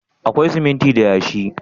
Akwai siminti da yashi?